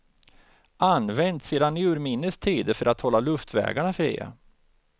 Används sedan urminnes tider för att hålla luftvägarna fria.